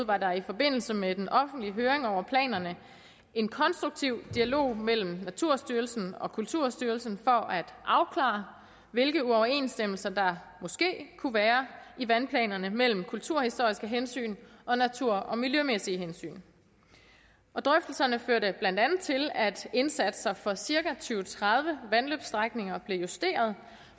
var der i forbindelse med den offentlige høring over planerne en konstruktiv dialog mellem naturstyrelsen og kulturstyrelsen for at afklare hvilke uoverensstemmelser der måske kunne være i vandplanerne mellem kulturhistoriske hensyn og natur og miljømæssige hensyn drøftelserne førte blandt andet til at indsatser for cirka tyve til tredive vandløbsstrækninger blev justeret